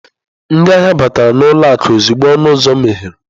Ndị ahịa batara n'ụlọ akụ ozugbo ọnụ ụzọ meghere.